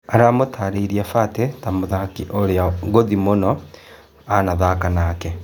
Aramũtarĩ irie Batĩ ta mũthaki ũrĩ a ngũthi mũno ũrĩ a anathaka nake.